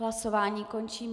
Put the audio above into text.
Hlasování končím.